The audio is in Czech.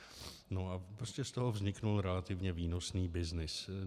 No a prostě z toho vznikl relativně výnosný byznys.